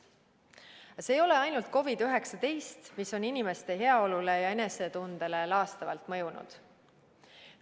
Aga see ei ole ainult COVID‑19, mis on inimeste heaolule ja enesetundele laastavalt mõjunud.